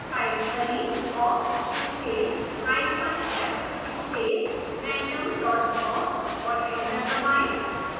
type करें: awk space hyphen f space random dot awk और enter दबाएं